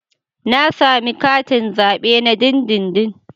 Na sami katin zabe na dindindin.